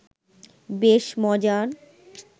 বেশ মজার